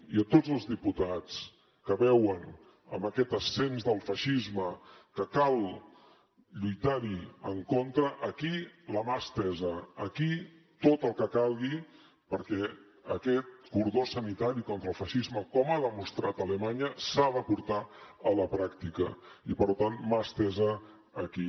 i a tots els diputats que veuen en aquest ascens del feixisme que cal lluitar hi en contra aquí la mà estesa aquí tot el que calgui perquè aquest cordó sanitari contra el feixisme com ha demostrat alemanya s’ha de portar a la pràctica i per tant mà estesa aquí